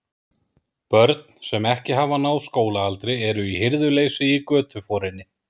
Börn, sem ekki hafa náð skólaaldri, eru í hirðuleysi í götuforinni.